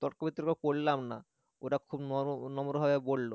তর্ক বিতর্ক করলাম না ওরা খুব নম নম্র ভাবে বলল